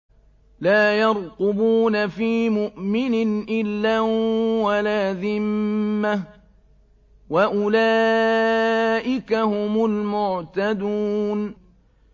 لَا يَرْقُبُونَ فِي مُؤْمِنٍ إِلًّا وَلَا ذِمَّةً ۚ وَأُولَٰئِكَ هُمُ الْمُعْتَدُونَ